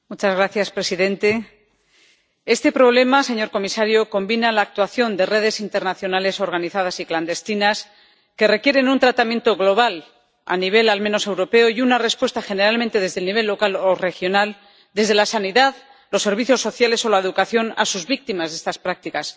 Señor presidente este problema, señor comisario, combina la actuación de redes internacionales organizadas y clandestinas que requieren un tratamiento global a nivel al menos europeo, y una respuesta, dada generalmente desde el nivel local o regional, desde la sanidad, los servicios sociales o la educación, a las víctimas de estas prácticas.